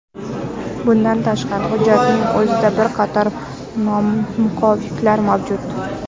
Bundan tashqari, hujjatning o‘zida bir qator nomuvofiqliklar mavjud.